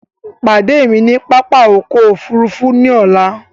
Pàdé mi ni pápá ọkọ̀ òfurufú ọlá!